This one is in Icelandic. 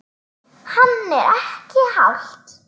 Hann: Er ekki hált?